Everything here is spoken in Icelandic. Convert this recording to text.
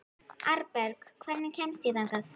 Arnberg, hvernig kemst ég þangað?